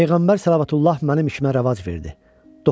Peyğəmbər Səllallahu əleyhi və Səlləm mənim işimə rəvac verdi.